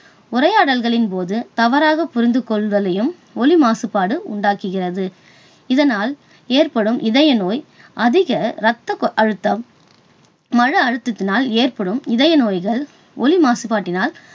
உரையாடல்களின் போது தவறாக புரிந்து கொள்வதையும் ஒலி மாசுபாடு உண்டாக்குகிறது. இதனால் ஏற்படும் இதயநோய், அதிக ரத்த அழுத்தம், மன அழுத்தத்தினால் ஏற்படும் இதய நோய்கள் ஒலி மாசுபாட்டினால்